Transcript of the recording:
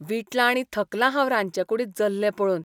वीटलां आनी थकलां हांव रांदचेकूडींत जल्ले पळोवन.